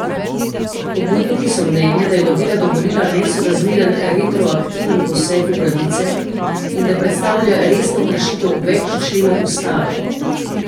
Pobudniki so mnenja, da je novela dovolila nesorazmeren retroaktiven poseg v pravice in da predstavlja resno kršitev več členov ustave.